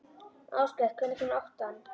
Áskell, hvenær kemur áttan?